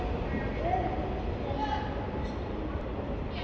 Öfundin skín úr þeim.